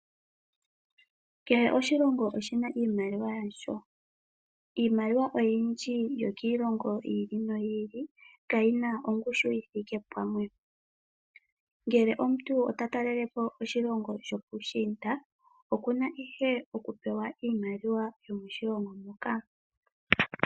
Kehe oshilongo oshina iimaliwa yasho. Iimaliwa yindji yokiilongo yi ili noyi ili kayina ongushu yithike pamwe. Ngele omuntu ota talele po oshilongo shopuushiinda okuna ihe okupewa iimaliwa yomoshilongo moka.